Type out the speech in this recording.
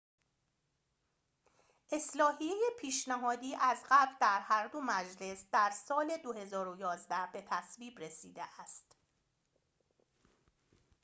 اصلاحیه پیشنهادی از قبل در هر دو مجلس در سال ۲۰۱۱ به تصویب رسیده است